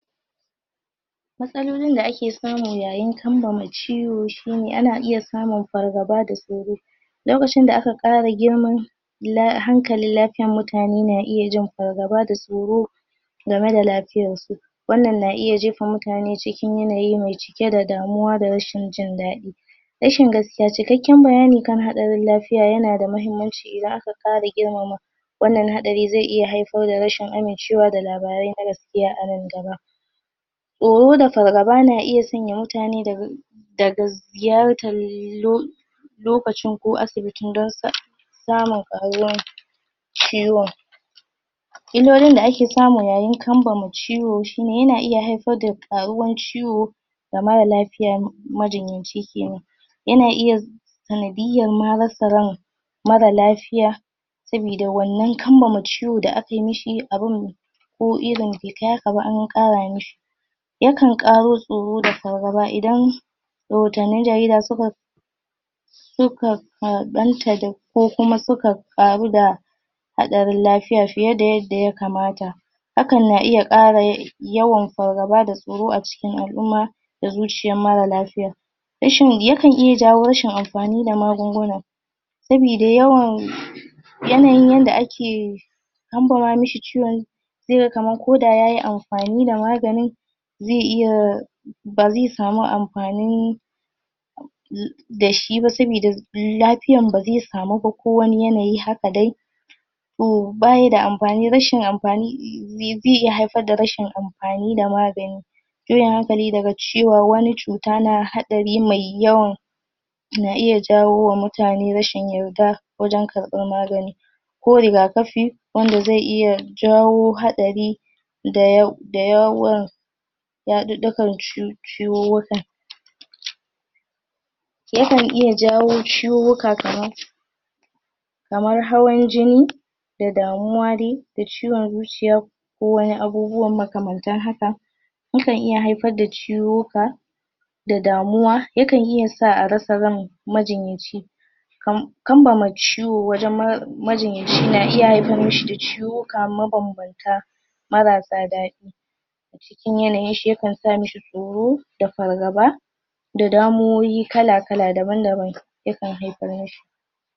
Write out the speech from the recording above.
matsalolin da ake samu yayin kambama ciwo shine ana iya samun far gaba da tsoro lokacin da aka ƙara girman hankalin lafiyana mutane na iyajin fargaba da tsoro gama da lafiyarsu wannan na iya jefa mutane cikin yanayi me cike da damuwa da rashin jin daɗi rashin gaskiya cikakkan bayani kan hatsarin lafiya yanada mahimmanci idan aka ƙara girmama wannan haɗari ze iya hai far da rashin amin cewa da labarai na gas kiya anan gaba tsoro da fargaba na iya sanya mutane daga daga ziyartar lo lokacin ko asibitin don samun ƙaruwan ciwon illolin da ake samu yayin kambama ciwo shine yana iya haifa da ƙaruwan ciwo da mara lafiya majin yanci kenan yana iya sana diyanma rasa ryan mara lafiya sabida wannan kambama ciwon da akai mishi abin ko irin be kai hakaba anƙara mishi yakan ƙaro tsoro da fargaba idan rahotannin jarida suka suka karɓanta da ko kuma suka ƙaru da haɗarin lafiya fiye da yanda yakamata hakan na iya ƙara yawan fargaba da tsoro aciki al'umma da zuciyan mara lafiya rashin yakan iya jawo rashin amfani da magunguna sabida yawon yanayin yanda ake kambama mashi ciwon zega kaman koda yayi amfani da maganin ze iya baze samu amfani dashiba sabida lafiyan baze samuba ko wani yanayi haka dai to bayida da amfani rashi amfani ze iya haifar da rashin amfani da magani irin hakane daga cewa wani cuta na hatsari mai yawan na iya jawoma mutane rashin yadda wajan karɓan magani ko riga kafi wanda ze iya jawo hatsari da yawan ya ɗiƙɗikan ciwuwukan yakan iya jawo ciwuwuka kaman kamar hawan jini da damuwa da ciwon zuciya ko wani abubuwan maka mantan hakan yakan iya haifar da ciwuk wuka da damuwa yakan iyasa arasa ran majinyaci kam kambama ciwo wanjan majinyaci na iya hafar mishi da cuwuka mabambamta marasa daɗi mutun yanayinshi yakan samishi tsoro da far gaba da damuwowi kala kala daban daban yakan hafar mishi